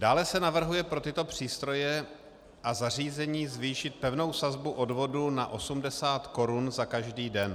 Dále se navrhuje pro tyto přístroje a zařízení zvýšit pevnou sazbu odvodu na 80 korun za každý den.